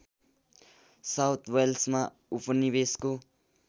south वेल्समा उपनिवेशको